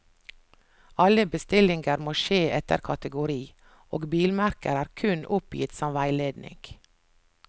Alle bestillinger må skje etter kategori, og bilmerker er kun oppgitt som veiledning.